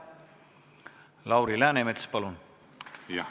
Lauri Läänemets, palun!